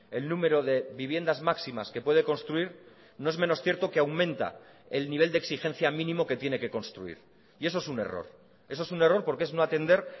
el número de viviendas máximas que puede construir no es menos cierto que aumenta el nivel de exigencia mínimo que tiene que construir y eso es un error eso es un error porque es no atender